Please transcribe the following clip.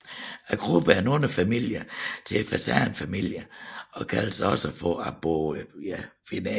Gruppen er en underfamilie til fasanfamilien og kaldes også Arborophilinae